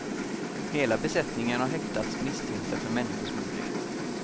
Hela besättningen har häktats misstänkta för människosmuggling.